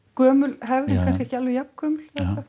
gömul hefð en kannski ekki alveg jafngömul eða